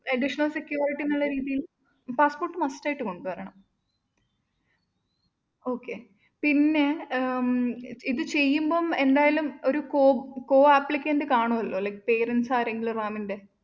additional security എന്നുള്ള രീതിയില്‍ passport must ആയിട്ടും കൊണ്ടുവരണം okay പിന്നെ ഉം ഇത് ചെയ്യുമ്പംഎന്തായാലും ഒരു co~ co applicant കാണുമല്ലോ likeparents ആരെങ്കിലും റാമിന്റെ